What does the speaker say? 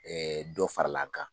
dɔ farala an kan.